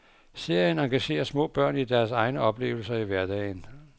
Serien engagerer små børn i deres egne oplevelser i hverdagen.